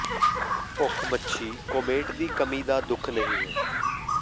ਭੁੱਖ ਮੱਛੀ ਕੋਮੇਟ ਦੀ ਕਮੀ ਦਾ ਦੁੱਖ ਨਹੀ ਹੈ